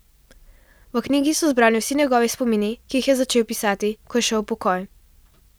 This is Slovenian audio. V knjigi so zbrani vsi njegovi spomini, ki jih je začel pisati, ko je šel v pokoj.